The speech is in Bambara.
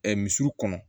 misiw kɔnɔ